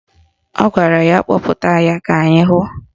Ọ gwara ya kpọpụta ya ka anyị hụ